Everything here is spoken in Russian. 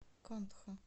кантхо